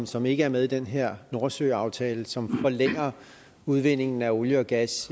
som ikke er med i den her nordsøaftale som forlænger udvindingen af olie og gas